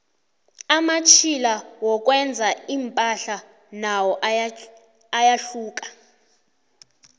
amatjhila wokwenza impahla nawo ayahluka